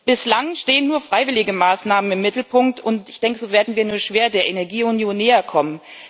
Bislang stehen nur freiwillige Maßnahmen im Mittelpunkt, und ich denke, so werden wir nur schwer der Energieunion näher kommen.